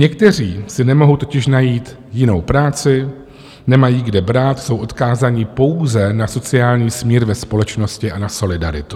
Někteří si nemohou totiž najít jinou práci, nemají kde brát, jsou odkázáni pouze na sociální smír ve společnosti a na solidaritu.